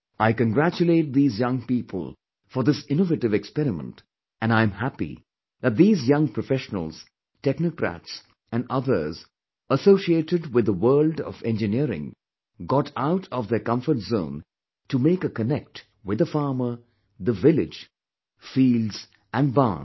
I congratulate these young people for this innovative experiment and I am happy that these young professionals, technocrats and others associated with the world of engineering, got out of their comfort zone to make a connect with the farmer, the village, fields and barns